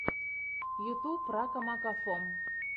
ютьюб ракамакафо